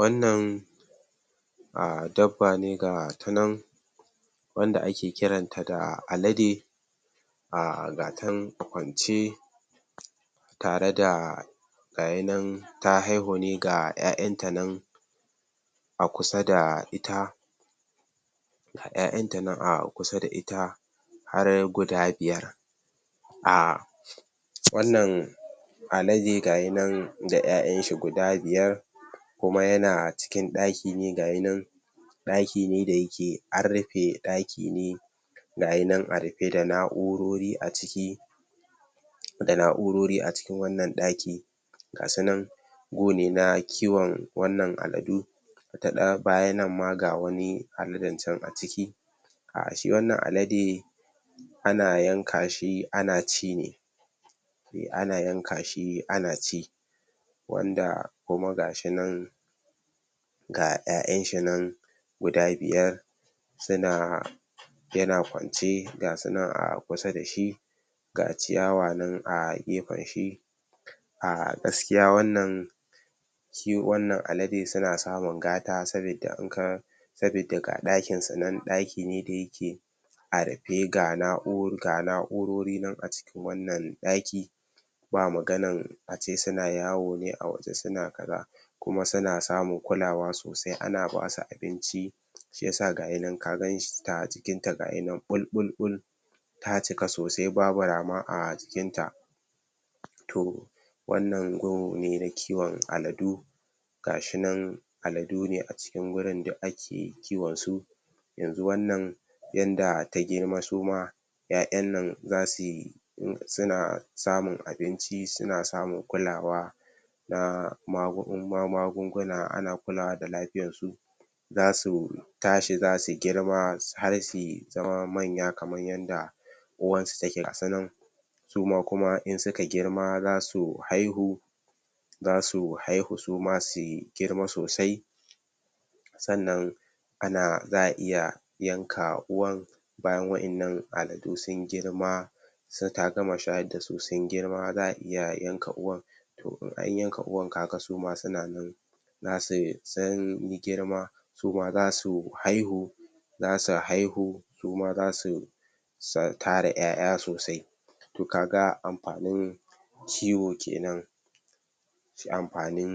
Wannan a dabba ne gata nan wanda ake kiranta da Alade a gata nan kwance tare da gaya nan ta haihu ne ga 'ya'yanta nan a kusa da ita ga 'ya'yanta a kusa da ita har guda biyar a wannan Alade ga yi nan da 'ya'yanshi guda biyar kuma yana cikin ɗaki ne ga yi nan ɗaki ne da yake an rufe ɗaki ne ga yi nan a rufe da na'urori a ciki da na'urori a cikin wannan ɗaki ga su nan gu ne na kiwon wannan Aladu da ɗa baya nan ma ga wani Aladen can a ciki a shi wannan Alade ana yanka shi ana ci ne ana yanka shi ana ci wanda kuma gashi nan ga 'ya'yanshi nan guda biyar suna yana kwance ga su na a kusa da shi ga kiyawa nan a gefenshi a gaskiya wannan kiw wannan Alade suna samun gata sabida in ka sabida ga ɗakinsu nan ɗaki ne da yake a rufe ga na'u ga na'urori nan a cikin wannan ɗaki ba maganan ace suna yawo ne a waje suna kaza kuma suna samun kulawa sosai ana basu abinci shi ya sa gayi na ka ganshi sta a jikinta gaya na ɓulɓul ta cika sosai babu rama a jikinta to wannan gu ne na kiwon Aladu ga shi nan Aladu ne a cikin wurin duk ake kiwon su yanzu wannan yanda ta girma su ma 'ya'yan nan za sui suna samun abinci suna samun kulawa na magun magunguna ana kulawa da lafiyarsu za su tashi za su girma har s har sui tsawa manya kaman yanda uwarsu take gasu nan suma kuma in suka girma za su haihu za su haihu su ma sui girma sosai sannan ana za a iya yanka uwan bayan wa'yannan Aladu sun girma sai ta gama shayar da su sun girma za a iya yanka uwan in anyanka uwan ka ga suma suna nan na se sun yi girma su ma za su haihu za su haihu suma za su tara 'ya'ya sosai ka ga amfanin kiwo kenan shi amfanin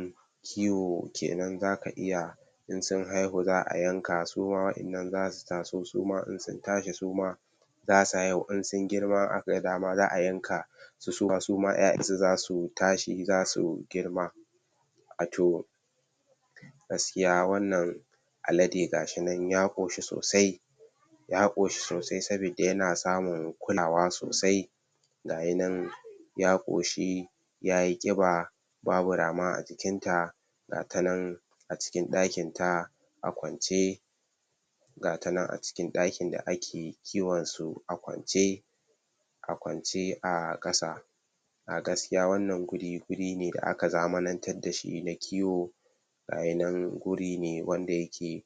kiwo kenan zaka iya in sun haihu za a yanka su ma wa'yanna za su taso su ma in sun tashi su ma za su haihu in sun girma in aka dama za a yanka su suma 'ya'yansu za su tashi za su girma gaskiya wannan Alade gashi nan ya ƙoshi sosai ya ƙoshi sosai sabida yana samun kulawa sosai ga yi nan ya ƙoshi ya yi ƙiba babu rama a jikinta gata nan a cikin ɗakinta a kwance gata nan a cikin ɗakin da ake kiwon su a kwance a kwance a ƙasa a gaskiya wannan guri guri ne da aka zamanantad da shi na kiwo ga ya nan guri ne wanda yake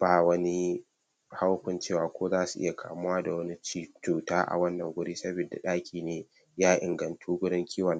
ba wani haukunciwa ko za su iya kamuwa da wani ci cuta a wannan guri sabida ɗaki ne ya ingantu wurin kiwon